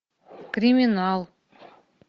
криминал